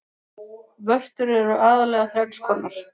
Vörtur eru aðallega þrenns konar.